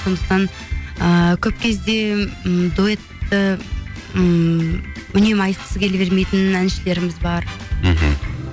сондықтан ыыы көп кезде м дуэтті ммм үнемі айтқысы келе бермейтін әншілеріміз бар мхм